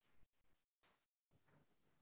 உங்களுக்கு share பண்ணிருக்கேன் sir